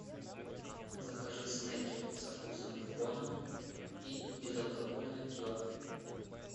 закажи снеки со вкусом бекона и безалкогольное пиво